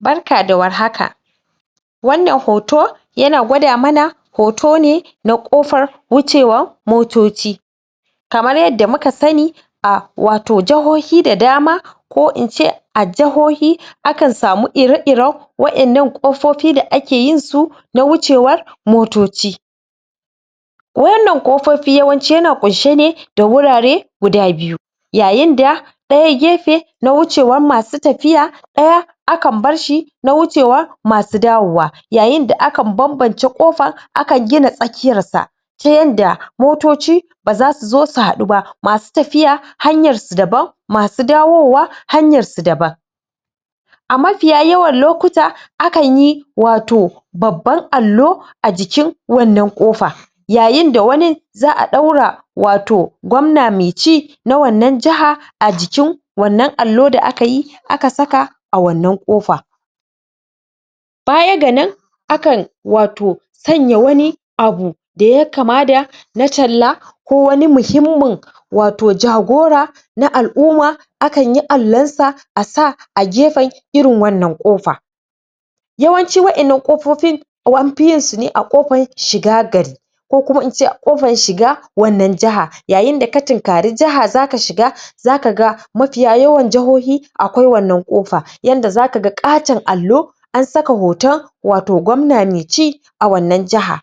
Barka da warhaka wannan hoton yana gwada mana hoto ne na ƙofar wucewa motoci kamar yadda muka sani a wato jahohi da dama ko ince a jahohi akan samu ire iren wa'yan nan ƙofofi da ake yin su na wucewar motoci wannan ƙofofi yawanci yana ƙunshe ne da wurare guda biyu yayin da ɗaya gyefe na wucewar masu tafiya ɗaya akan barshi na wucewa masu dawowa yayin da akan bambance ƙofa akan gida tsakiyar sa' ta yadda motoci baza so zo su haɗu ba, masu tafiya hanyar su daban masu dawowa hanyar su daban a mafiya yawan lokuta akan yi wato babban alo a jikin wannan ƙafa yayin da wani za'a ɗaura wato gwamna mai ci na wannan jihar a jikin wannan alo da aka yi aka saka a wannan ƙofa baya ga nan akan wato sanya wani abu da yayi kama da na talla ko wani mahimmin wato jagora na al'umma akan yi Allon sa asa a gefei irin wannan ƙofa yawancin wa'yan nan ƙofofin anfi yunsa ne a ƙofar shiga gari ko kuma in ce a ƙofar shiga wannan jihar yayin da ka tunkari jiha zaka shiga zaka ga mafiya yawan jihohi akwai wannan ƙofa yadda zaka ga ƙaton Allo an saka hoton wato gwamna mai ci a wannan jiha